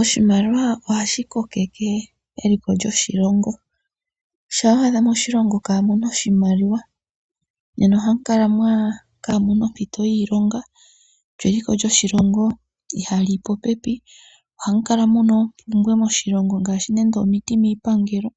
Oshimaliwa ohashi kokeke eliko lyoshilongo, shampa wa adha moshilongo kamuna oshimaliwa nena ohamu kala kamuna ompito yiilonga lyo eliko lyoshilongo iha liyi popepi . Ohamu kala muna oompumbwe ngaashi nande omiti miipangelo,